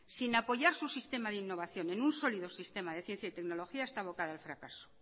sin apoyar su sistema de innovación en un sólido sistema de ciencia y tecnología está abocado al fracaso